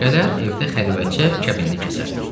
Gələr, evdə xəlvətcə kəbinini kəsər.